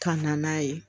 Ka na n'a ye